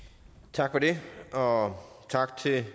tak for det og tak til